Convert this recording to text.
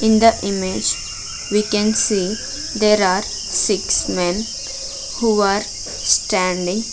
In the image we can see there are six men who are standing.